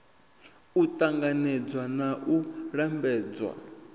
u ṱanganedzwa na u lambedzwa